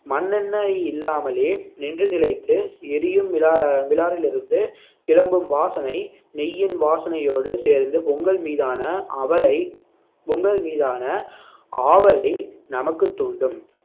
மண்ணெண்ணெய் இல்லாமலே நின்று நிலைத்து எரியும் மிலா~ மிலாரில் இருந்து கிளம்பும் வாசனை நெய்யின் வாசனையோடு சேர்ந்து பொங்கல் மீதான அவளை பொங்கல் மீதான ஆவலை நமக்குத் தூண்டும்